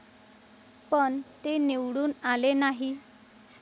पण, ते निवडून आले नाही?